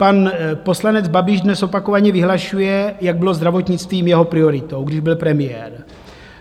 Pan poslanec Babiš dnes opakovaně vyhlašuje, jak bylo zdravotnictví jeho prioritou, když byl premiér.